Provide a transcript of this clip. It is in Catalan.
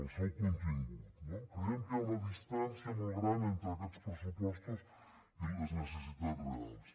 al seu contingut no creiem que hi ha una distància molt gran entre aquests pressupostos i les necessitats reals